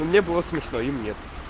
мне было смешно и мне